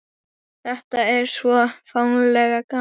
Þetta er svo ferlega gaman.